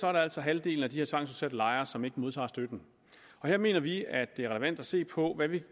er det altså halvdelen af de her tvangsudsatte lejere som ikke modtager støtte og her mener vi det er relevant at se på